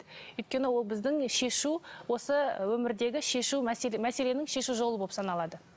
өйткені ол біздің шешу осы өмірдегі шешу мәселенің шешу жолы болып саналады